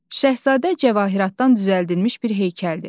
Şahzadə cəvahiratdan düzəldilmiş bir heykəldir.